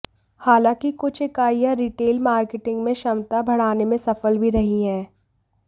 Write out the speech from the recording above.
हालांकि कुछ इकाइयां रिटेल मार्केटिंग में क्षमता बढ़ाने में सफल भी रही हैं